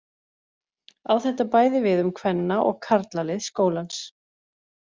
Á þetta bæði við um kvenna- og karlalið skólans.